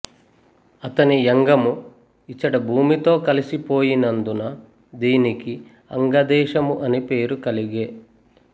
అతని యంగము ఇచట భూమితో కలసి పోయినందున దీనికి అంగదేశము అని పేరు కలిగె